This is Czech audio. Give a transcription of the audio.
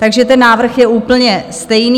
Takže ten návrh je úplně stejný.